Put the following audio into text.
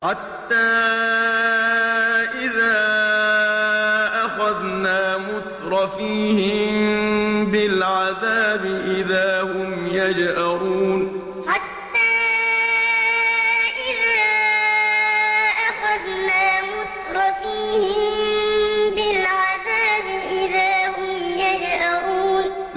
حَتَّىٰ إِذَا أَخَذْنَا مُتْرَفِيهِم بِالْعَذَابِ إِذَا هُمْ يَجْأَرُونَ حَتَّىٰ إِذَا أَخَذْنَا مُتْرَفِيهِم بِالْعَذَابِ إِذَا هُمْ يَجْأَرُونَ